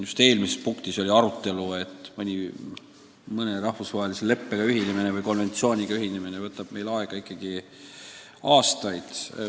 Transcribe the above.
Ka eelmise punkti arutelu ajal kõlas, et mõne rahvusvahelise leppega ühinemine võtab aastaid aega.